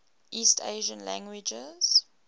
east asian languages